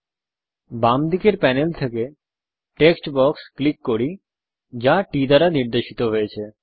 আসুন বাম দিকের প্যানেল থেকে টেক্সট বক্স ক্লিক করি যা T দ্বারা নির্দেশিত হয়েছে